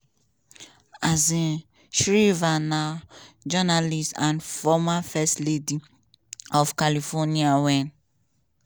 um shriver na journalist and former first lady lady of california wen